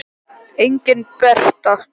Engin Bera.